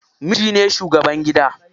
Miji ne shugaban gida.